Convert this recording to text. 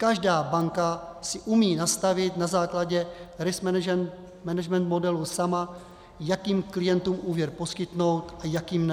Každá banka si umí nastavit na základě risk management modelu sama, jakým klientům úvěr poskytnout a jakým ne.